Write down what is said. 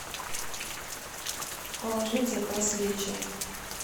положи в заказ лечо